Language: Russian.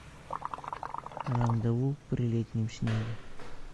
рандеву при летнем снеге